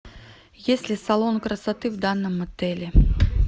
есть ли салон красоты в данном отеле